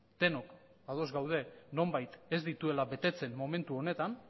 denok ados gaude nonbait ez dituela betetzen momentu honetan